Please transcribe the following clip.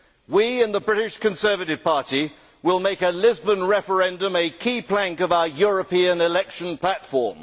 We in the British Conservative Party will make a Lisbon referendum a key plank of our European election platform.